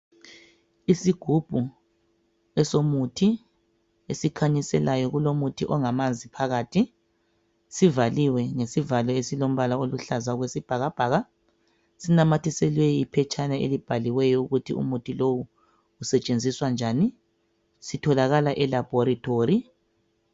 Isigubhu esomuthi esikhanyiselayo kulomuthi ongamanzi phakathi sivaliwe ngesivalo esilombala oluhlaza okwesibhakabhaka sinamathiselwe iphetshana elibhaliweyo ukuthi umuthi lowu usetshenziswa njani. Sitholakala elabhorithori.